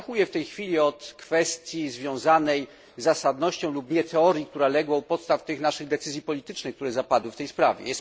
Abstrahuję w tej chwili od kwestii związanej z zasadnością lub nie teorii, która legła u podstaw tych naszych decyzji politycznych, które zapadły w tej sprawie.